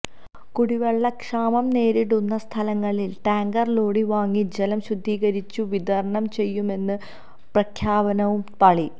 കുടിവെള്ളക്ഷാമം നേരിടുന്ന സ്ഥലങ്ങളില് ടാങ്കര് ലോറി വാങ്ങി ജലം ശുദ്ധീകരിച്ചു വിതരണം ചെയ്യുമെന്ന പ്രഖ്യാപനവും പാളി